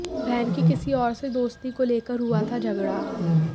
बहन की किसी और से दोस्ती को लेकर हुआ था झगड़ा